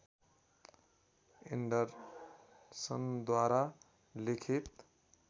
एन्डरसनद्वारा लिखित